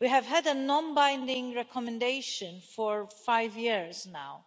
We have had a non binding recommendation for five years now,